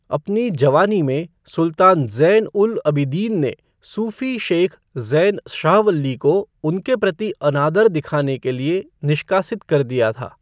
अपनी जवानी में, सुल्तान ज़ैन उल अबिदीन ने सूफी शेख ज़ैन शाहवल्ली को उनके प्रति अनादर दिखाने के लिए निष्कासित कर दिया था।